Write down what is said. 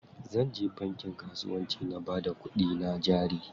Zanje bankin kasuwanci na bada kuɗina jari.